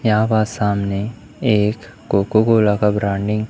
यहां पास सामने एक कोको कोला का ब्रांडिंग --